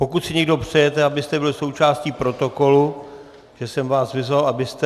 Pokud si někdo přejete, abyste byli součástí protokolu, kde jsem vás vyzval, abyste...